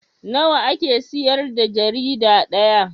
Nawa ake siyar da jarida ɗaya?